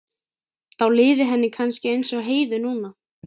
Þá liði henni kannski eins og Heiðu núna.